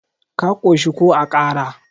ka koshi ko a Kara?